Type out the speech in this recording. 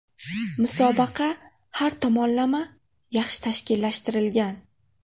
Musobaqa har tomonlama yaxshi tashkillashtirilgan.